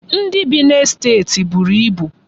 Ndị bi n'estet buru ibu.